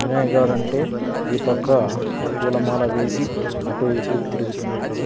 వినయ్ గాడంటే ఈ పక్క పూలమాల వేసి అటు ఇటు తిరుగుతున్నట్లుగా --